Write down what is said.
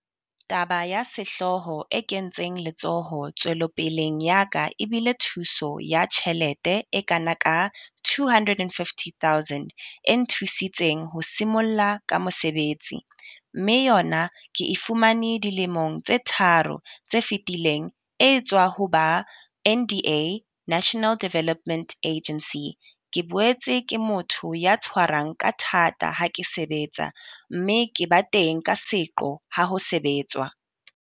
Taba ya sehlooho e kentseng letsoho tswelopeleng ya ka e bile thuso ya tjhelete e kana ka R250 000 e nthusitseng ho simolla ka mosebetsi, mme yona ke e fumane dilemong tse tharo tse fetileng e etswa ho ba NDA National Development Agency. Ke boetse ke motho ya tshwarang ka thata ha ke sebetsa, mme ke ba teng ka seqo ha ho sebetswa.